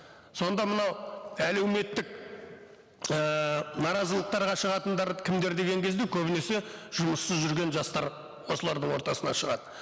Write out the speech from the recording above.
сонда мынау әлеуметтік ііі наразылықтарға шығатындар кімдер деген кезде көбінесе жұмыссыз жүрген жастар осылардың ортасынан шығады